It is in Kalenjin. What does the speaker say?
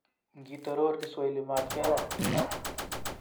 Ngitoror kiswahili matkeyon